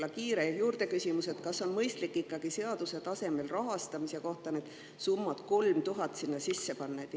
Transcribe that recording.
Ja kiire küsimus: kas on mõistlik ikkagi seadusesse rahastamise kohta summa 3000 eurot sisse panna?